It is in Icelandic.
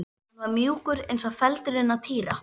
Hann var mjúkur eins og feldurinn á Týra.